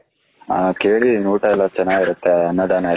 ಹ ಕೇಳಿದ್ದೀನಿ ಊಟ ಎಲ್ಲ ಚೆನ್ನಾಗಿರುತ್ತೆ ಅನ್ನಾದನ ಎಲ್ಲ